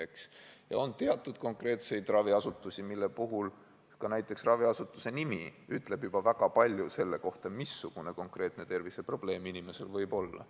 Samuti on teatud raviasutusi, mille puhul juba näiteks asutuse nimi ütleb väga palju selle kohta, missugune konkreetne terviseprobleem inimesel võib olla.